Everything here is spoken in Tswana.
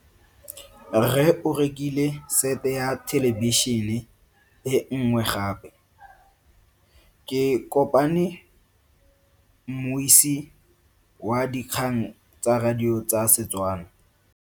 Rre o rekile sete ya thelebišene e nngwe gape. Ke kopane mmuisi w dikgang tsa radio tsa Setswana.